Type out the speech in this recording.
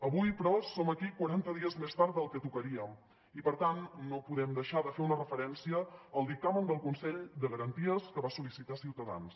avui però som aquí quaranta dies més tard del que tocaria i per tant no podem deixar de fer una referència al dictamen del consell de garanties que va sol·licitar ciutadans